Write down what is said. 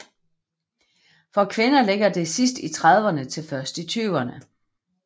For kvinder ligger det sidst i trediverne til først i fyrrene